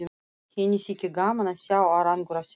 Henni þyki gaman að sjá árangur af þeim.